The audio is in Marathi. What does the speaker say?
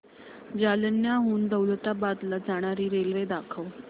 जालन्याहून दौलताबाद ला जाणारी रेल्वे दाखव